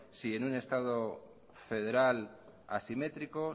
si en un estado federal asimétrico